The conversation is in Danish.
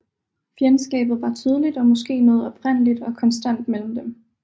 Fjendskabet var tydeligt og måske noget oprindeligt og konstant mellem dem